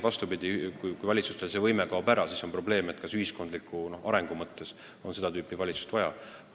Kui valitsusel see võime kaob ära, siis on tõesti probleem, kas riigil on ühiskondliku arengu mõttes seda tüüpi valitsust vaja.